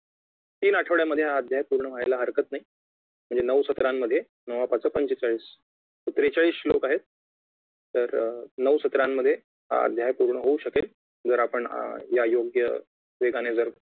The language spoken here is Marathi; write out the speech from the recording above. तीन आठवड्यामध्ये हा अध्याय पूर्ण व्हायला हरकत नाही म्हणजे नऊ सत्रांमध्ये नवा पाचा पंचेचाळीस त्रेचाळीस श्लोक आहेत तर नऊ सत्रामध्ये हा अध्याय पूर्ण होऊ शकेल जर आपण या योग्य वेगाने जर